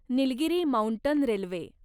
Nilgiri mountain railway